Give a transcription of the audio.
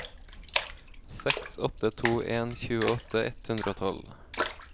seks åtte to en tjueåtte ett hundre og tolv